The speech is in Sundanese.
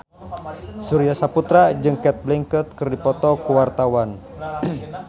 Surya Saputra jeung Cate Blanchett keur dipoto ku wartawan